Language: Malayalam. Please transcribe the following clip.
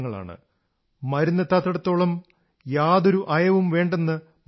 മരുന്നെത്താത്തിടത്തോളം യാതൊരു അയവും വേണ്ടെന്നു മറക്കരുത്